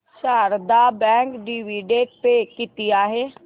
Sharda bank dividend pay किती आहे